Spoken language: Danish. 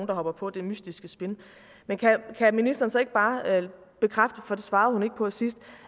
der hopper på dét mystiske spin men kan ministeren så ikke bare bekræfte for det svarede hun ikke på sidst